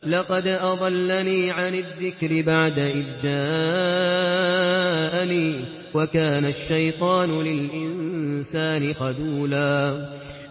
لَّقَدْ أَضَلَّنِي عَنِ الذِّكْرِ بَعْدَ إِذْ جَاءَنِي ۗ وَكَانَ الشَّيْطَانُ لِلْإِنسَانِ خَذُولًا